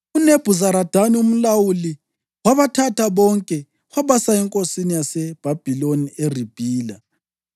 UNebhuzaradani umlawuli wabathatha bonke wabasa enkosini yaseBhabhiloni eRibhila.